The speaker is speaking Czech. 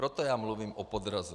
Proto já mluvím o podrazu.